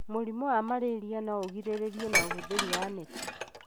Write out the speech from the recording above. Mũrimũ wa malaria no ũgĩrĩrĩrio na ũhũthiri wa neti.